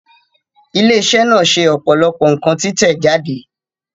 Ilé iṣẹ́ náà ṣe ọ̀pọ̀lọpọ̀ nǹkan títẹ̀ jáde